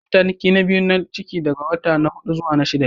Mataki na biyu na ciki daga watan hudu-shida ne.